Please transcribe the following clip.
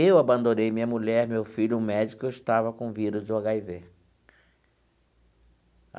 Eu abandonei minha mulher, meu filho, o médico e eu estava com o vírus do agá i vê.